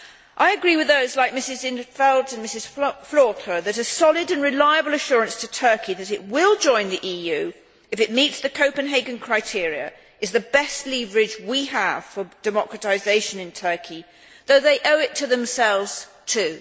I agree with those like Mrs in 't Veld and Mrs Flautre that a solid and reliable assurance to Turkey that it will join the EU, if it meets the Copenhagen criteria, is the best leverage we have for democratisation in Turkey though they owe it to themselves, too.